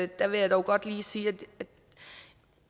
der vil jeg dog godt lige sige at